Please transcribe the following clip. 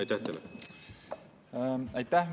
Aitäh!